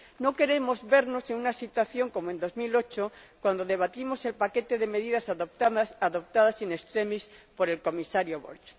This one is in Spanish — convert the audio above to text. No queremos vernos en una situación como la de 2008, cuando debatimos el paquete de medidas adoptadas in extremis por el Comisario Borg.